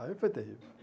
Aí foi terrível.